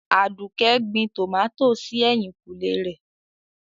Aduke gbìn tọ́mátí sí èhìnkùnlè rẹ̀.